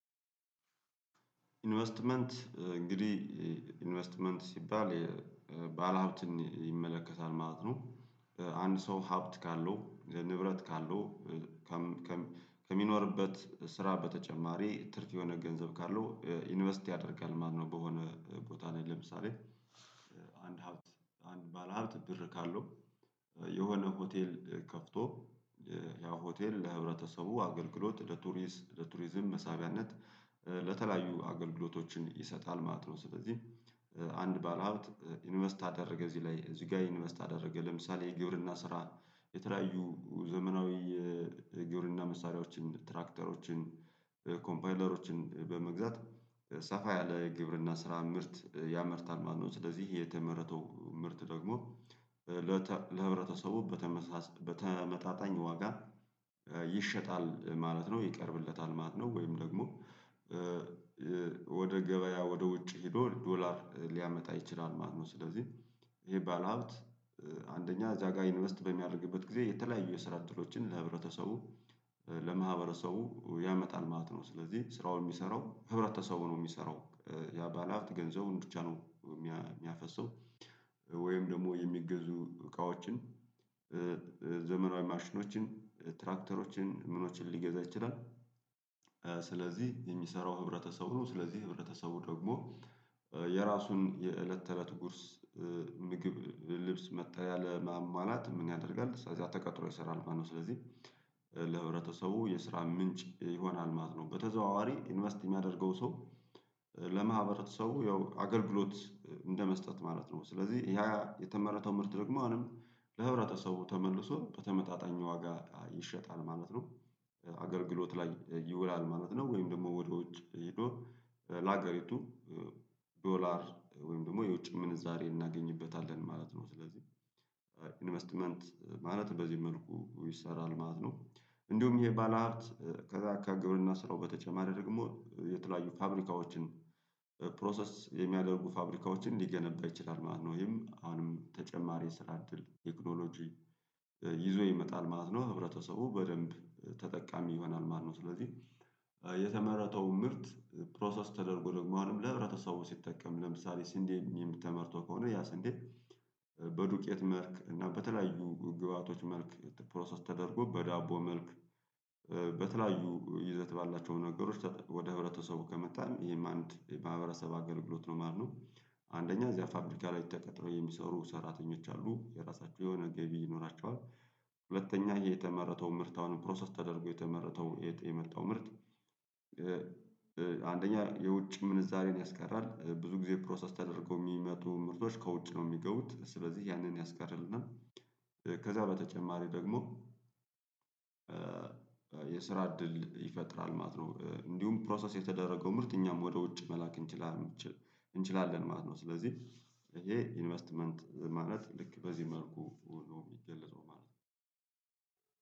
ኢንቨስትመንት እንግዲህ ኢንቨስትመንት ሲባል ባለሀብትን ይመለከታል ማለት ነው አንድ ሰው ሀብት ካለው ንብረት ካለው ከሚኖርበት ስራ በተጨማሪ ትርፍ የሆነ ገንዘብ ካለው ኢንቨስት ያደርጋል ማለት ነው። በሆነ ቦታ ነው ለምሳሌ አንድ ሀብት አንድ ባለሀብት ብር ካለው የሆነ ሆቴል ከፍቶ ያው ሆቴል ለህብረተሰቡ አገልግሎት ለቱሪዝም መሳቢያነት ለተለያዩ አገልግሎቶችን ይሰጣል ማለት ነው። ስለዚህ አንድ ባለሀብት ኢንቨስት አደረገ እዚህ ላይ እዚህ ጋር ኢንቨስት አደረገ ለምሳሌ የግብርና ስራ የተለያዩ ዘመናዊ የግብርና መሳሪያዎችን ትራክተሮችን ኮምፓይለሮችን በመግዛት ሰፋ ያለ ግብርና ስራ ምርት ያመርታል ማለት ነው። ስለዚህ የተመረተው ምርት ደግሞ ለህብረተሰቡ በተመጣጣኝ ዋጋ ይሸጣል ማለት ነው ይቀርብለታል ማለት ነው ወይም ደግሞ ወደ ገበያ ወደ ውጭ ሄዶ ዶላር ሊያመጣ ይችላል ማለት ነው። ስለዚህ ይሄ ባለሀብት አንደኛ እዛጋ ኢንቨስት በሚያደርግበት ጊዜ የተለያዩ የስራ እድሎችን ለህብረተሰቡ ለማህበረሰቡ ያመጣል ማለት ነው። ስለዚህ ስራውን የሚሰራው ህብረተሰቡ ነው የሚሰራው ያ ባለሀብት ገንዘብን ብቻ ነው የሚያፈሰው ወይም ደግሞ የሚገዙ እቃዎችን ዘመናዊ ማሽኖችን ትራክተሮችን ምኖችን ሊገዛ ይችላል። ስለዚህ የሚሰራው ህብረተሰብ ነው ስለዚህ ህብረተሰቡ ደግሞ የራሱን የእለት ተእለት ጉርስ ምግብ ልብስ መጠለያ ለማሟላት ምን ያደርጋል እዚያ ተቀጥሮ ይሰራል ማለት ነው። ስለዚህ ለህብረተሰቡ የስራ ምንጭ ይሆናል ማለት ነው። በተዘዋዋሪ ኢንቨስት የሚያደርገው ሰው ለማህበረሰቡ ያው አገልግሎት እንደመስጠት ማለት ነው። ስለዚህ ያ የተመረተው ምርት ደግሞ አሁንም ለህብረተሰቡ ተመልሶ በተመጣጣኝ ዋጋ ይሸጣል ማለት ነው አገልግሎት ላይ ይውላል ማለት ነው። ወይም ደግሞ ወደ ውጭ ሄዶ ለአገሪቱ ዶላር ወይም ደግሞ የውጭ ምንዛሬ እናገኝበታለን ማለት ነው። ስለዚህ ኢንቨስትመንት ማለት በዚህ መልኩ ይሰራል ማለት ነው። እንዲሁም ይሄ ባለሀብት ከዛ ከግብርና ስራው በተጨማሪ ደግሞ የተለያዩ ፋብሪካዎችን ፕሮሰስ የሚያደርጉ ፋብሪካዎችን ሊገነባ ይችላል ማለት ነው። ይሄም አሁንም ተጨማሪ የስራ እድል ቴክኖሎጂ ይዞ ይመጣል ማለት ነው ህብረተሰቡ በደንብ ተጠቃሚ ይሆናል ማለት ነው። ስለዚህ የተመረጠው ምርት ፕሮሰስ ተደርጎ ደግሞ አሁንም ለህብረተሰቡ ሲጠቀም ለምሳሌ ስንዴ ተመርቶ ከሆነ ያ ስንዴ በዱቄት መልክ እና በተለያዩ ግብአቶች መልክ ፕሮሰስ ተደርጎ በዳቦ መልክ በተለያዩ ይዘት ባላቸው ነገሮች ወደ ህብረተሰቡ ከመጣ ይሄም አንድ የማህበረሰብ አገልግሎት ነው ማለት ነው። አንደኛ እዚያ ፋብሪካ ላይ ተቀጥረው የሚሰሩ ሰራተኞች አሉ የራሳቸው የሆነ ገቢ ይኖራቸዋል። ሁለተኛ የተመረተው ምርት አሁን ፕሮሰስ ተደርጎ የተመረተው የመጣው ምርት አንደኛ የውጭ ምንዛሬን ያስቀራል ብዙ ጊዜ ፕሮሰስ ተደርገው የሚመጡ ምርቶች ከውጭ ነው የሚገቡት ስለዚህ ያንን ያስቀርልናል። ከዛ በተጨማሪ ደግሞ የስራ እድል ይፈጥራል ማለት ነው። እንዲሁም ፕሮሰስ የተደረገው ምርት እኛም ወደ ውጭ መላክ እንችላለን እንችላለን ማለት ነው። ስለዚህ ይሄ ኢንቨስትመንት ማለት ልክ በዚህ መልኩ ነው የሚገለጸው ማለት ነው።